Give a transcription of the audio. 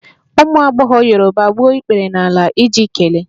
Ụmụ agbọghọ Yoruba gbuo ikpere n'ala iji kelee